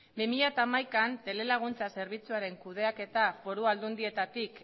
bi mila hamaikaan telelaguntza zerbitzuaren kudeaketa foru aldundietatik